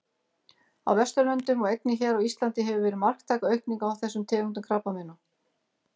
Á Vesturlöndum og einnig hér á Íslandi hefur verið marktæk aukning á þessum tegundum krabbameina.